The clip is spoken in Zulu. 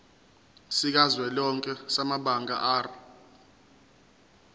sikazwelonke samabanga r